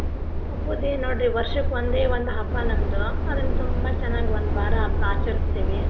ಹಬ್ಬದ್ದ ಏನ ನೋಡ್ರಿ ವರ್ಷಕ್ಕ ಒಂದೇ ಒಂದ್ ಹಬ್ಬ ನಮ್ದು ಅದನ್ನ ತುಂಬಾ ಚೆನ್ನಾಗಿ ಒಂದು ವಾರ ಹಬ್ಬ ಆಚರಸ್ತೇವಿ.